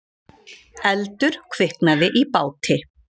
Eldur kviknaði í báti